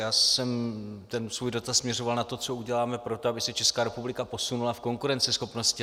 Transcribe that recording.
Já jsem ten svůj dotaz směřoval na to, co uděláme pro to, aby se Česká republika posunula v konkurenceschopnosti.